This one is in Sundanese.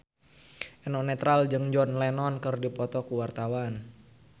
Eno Netral jeung John Lennon keur dipoto ku wartawan